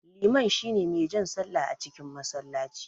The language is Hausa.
Liman shine mai jan sallah a cikin masallaci.